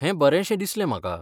हें बरेशें दिसलें म्हाका.